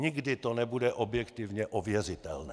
Nikdy to nebude objektivně ověřitelné.